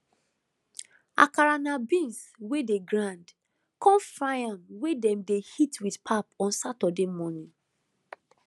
akara na beans wey dey grind con fry am wey dem dey eat with pap on saturday morning